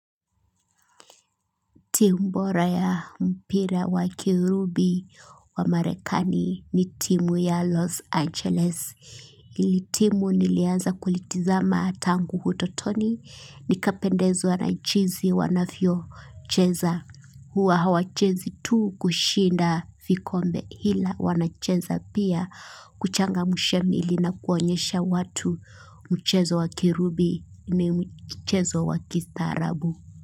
Team bora ya mpira wa kirubi wa Marekani ni timu ya Los Angeles. Hili timu nilianza kulitazama tangu utotoni. Nikapendezwa na chinzi wanafyocheza. Huwa hawachezi tu kushinda vikombe, ila wanacheza pia kuchangamsha miili na kuonyesha watu mchezo wakirubi ni mchezo wakistaarabu.